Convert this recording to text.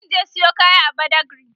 zan je Sayo kaya a badagry